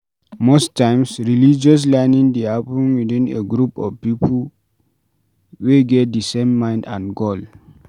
Most times religious learning dey happen within a group of pipo we get di same mind and goal